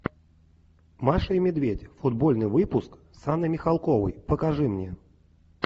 маша и медведь футбольный выпуск с анной михалковой покажи мне